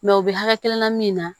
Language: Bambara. u bɛ hakɛ kelen na min na